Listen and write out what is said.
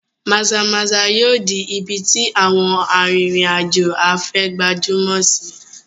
Maza-maza yóò di ibi tí àwọn arìnrìn-àjò afẹ́ gbajúmọ̀ sí i.